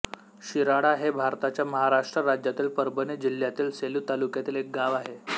शिराळा हे भारताच्या महाराष्ट्र राज्यातील परभणी जिल्ह्यातील सेलू तालुक्यातील एक गाव आहे